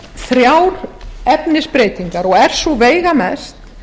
þrjár efnisbreytingar og er sú veigamest